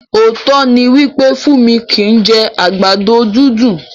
Ootọ ni wípé Funmi ko ki n jẹ àgbàdo dundun.